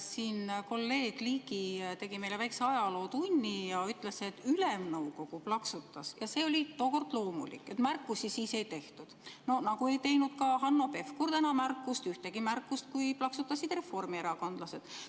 Siin kolleeg Ligi tegi meile väikse ajalootunni ja ütles, et Ülemnõukogu plaksutas ja see oli tookord loomulik, märkusi siis ei tehtud, nagu ei teinud ka Hanno Pevkur täna ühtegi märkust, kui plaksutasid reformierakondlased.